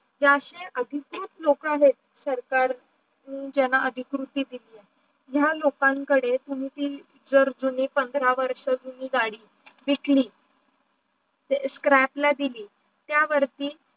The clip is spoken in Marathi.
याचे आधीतर लोक आहे सरकार ज्यांना अधिकृति दिली ज्या लोकन कडे तुम्ही ती जुनी पांढरा वर्ष जुनी गाडी विकली scrap ला दिली त्या वरती